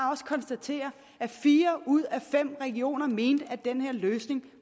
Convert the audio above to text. konstatere at fire ud af fem regioner mente at den her løsning